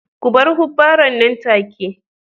Ku bar hubbaren nan take